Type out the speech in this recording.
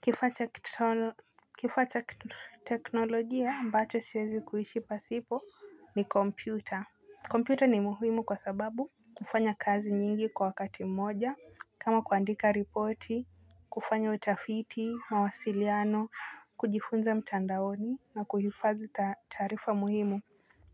Kifaa cha teknolojia ambacho siwezi kuishi pasipo ni kompyuta, kompyuta ni muhimu kwa sababu hufanya kazi nyingi kwa wakati mmoja kama kuandika ripoti, kufanya utafiti, mawasiliano, kujifunza mtandaoni na kuhifadhi taraifa muhimu.